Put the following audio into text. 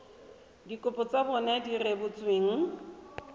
dikopo tsa bona di rebotsweng